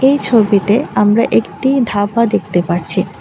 এই ছবিতে আমরা একটি ধাবা দেখতে পারছি।